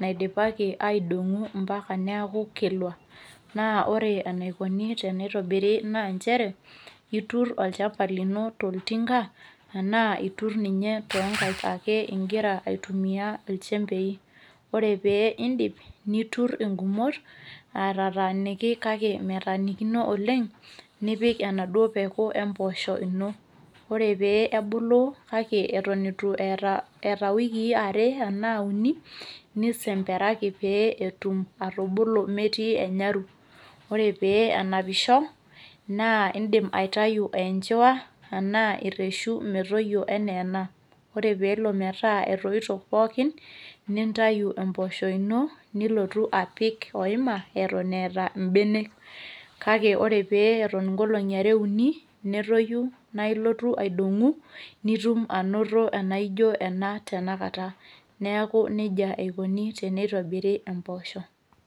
naidipaki aidong'u mpaka neaku kilwa. Naa ore eneikuni teneitobiri naa nchere, iturr olchamba lino toltinga anaa iturr ninye tonkaik akee igira aitumia ilchembei, ore pee indip niturr ingumot, aitataaniki kake metanikino oleng', nipik enaduo peku emboosho ino. Ore pee ebulu kake eton eitu eata  iwikii are anaa uni, nisemperaki pee etum atubulu metii enyaru. Ore pee enapisho, naa indim aitayu eenjwa anaa erreshu metoyio eneena. Ore pelo metaa etoito pookin, nintayu empoosho ino nilotu apik oema eton eeta mbenek, kake ore pee eton nkolong'i are uni netoyu naailotu aidong'u nitum anoto enajo ena tenakata neaku neija eikoni teneitobiri empoosho.